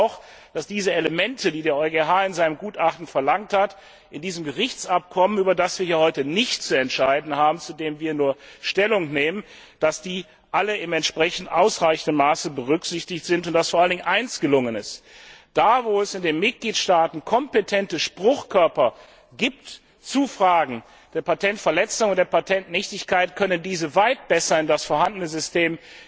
Ich glaube auch, dass diese Elemente, die der EuGH in seinem Gutachten verlangt hat, in diesem Gerichtsabkommen, über das wir heute nicht zu entscheiden haben, zu dem wir nur Stellung nehmen, alle in ausreichendem Maße berücksichtigt sind und dass vor allen Dingen eines gelungen ist Da, wo es in den Mitgliedstaaten kompetente Spruchkörper zu Fragen der Patentverletzung und der Patentnichtigkeit gibt, können diese weit besser in das vorhandene System